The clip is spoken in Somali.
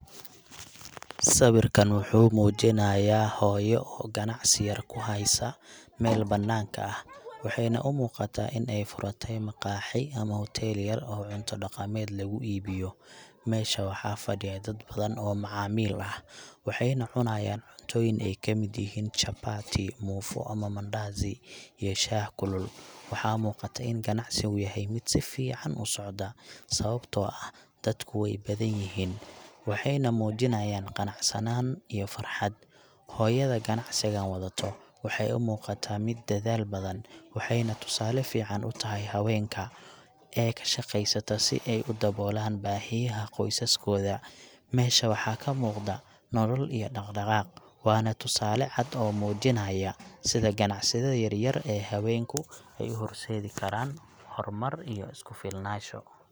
Sawirkan waxuu muujinayaa hooyo oo ganacsi yar ku haysa meel bannaanka ah, waxayna u muuqataa in ay furatay maqaaxi ama hotel yar oo cunto dhaqameed lagu iibiyo. Meesha waxaa fadhiya dad badan oo macaamiil ah, waxayna cunayaan cuntooyin ay ka mid yihiin chapati, muufo ama mandazi, iyo shaah kulul. Waxaa muuqata in ganacsigu yahay mid si fiican u socda, sababtoo ah dadku way badanyihiin, waxayna muujinayaan qanacsanaan iyo farxad. Hooyada ganacsigan wadato waxay u muuqataa mid dedaal badan, waxayna tusaale fiican u tahay haweenka ee ka shaqeysta si ay u daboolaan baahiyaha qoysaskooda. Meesha waxaa ka muuqda nolol iyo dhaqdhaqaaq, waana tusaale cad oo muujinaya sida ganacsiyada yaryar ee haweenku ay u horseedi karaan horumar iyo isku filnaanaasho.